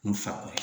N fa